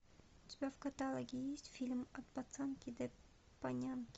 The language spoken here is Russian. у тебя в каталоге есть фильм от пацанки до панянки